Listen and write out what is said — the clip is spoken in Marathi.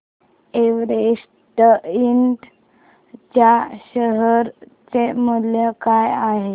एव्हरेस्ट इंड च्या शेअर चे मूल्य काय आहे